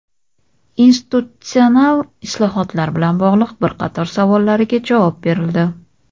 institutsional islohotlar bilan bog‘liq bir qator savollariga javob berildi.